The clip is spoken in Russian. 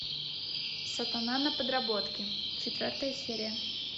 сатана на подработке четвертая серия